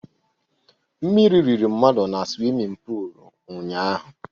Mmírí riri mmadụ na swimin pul ụnyaahụ